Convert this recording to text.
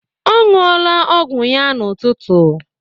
Ọ ṅụọla ọgwụ ya n'ụtụtụ.